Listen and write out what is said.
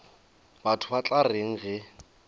batho ba tla reng ge